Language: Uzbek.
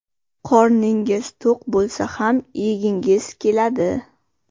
Qorningiz to‘q bo‘lsa ham yegingiz keladi.